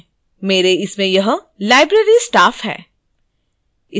मेरे इसमें यह library staff है